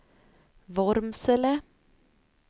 Vormsele